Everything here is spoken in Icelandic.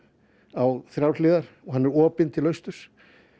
á þrjár hliðar og hann er opinn til austurs